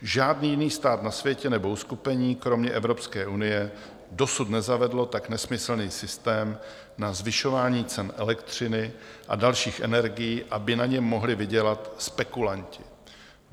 Žádný jiný stát na světě nebo uskupení - kromě Evropské unie - dosud nezavedlo tak nesmyslný systém na zvyšování cen elektřiny a dalších energií, aby na něm mohli vydělat spekulanti.